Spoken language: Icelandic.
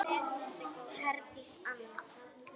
Herdís Anna.